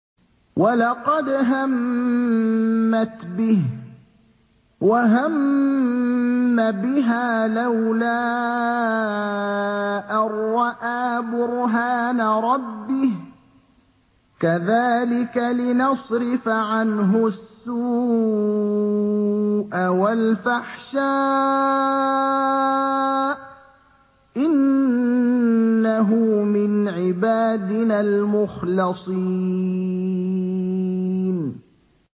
وَلَقَدْ هَمَّتْ بِهِ ۖ وَهَمَّ بِهَا لَوْلَا أَن رَّأَىٰ بُرْهَانَ رَبِّهِ ۚ كَذَٰلِكَ لِنَصْرِفَ عَنْهُ السُّوءَ وَالْفَحْشَاءَ ۚ إِنَّهُ مِنْ عِبَادِنَا الْمُخْلَصِينَ